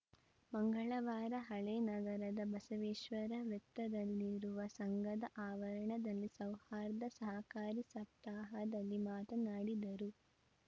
ಮಂಗಳವಾರ ಹಳೇನಗರದ ಬಸವೇಶ್ವರ ವೃತ್ತದಲ್ಲಿರುವ ಸಂಘದ ಆವರಣದಲ್ಲಿ ಸೌಹಾರ್ದ ಸಹಕಾರಿ ಸಪ್ತಾಹದಲ್ಲಿ ಮಾತನಾಡಿದರು